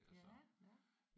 Ja ja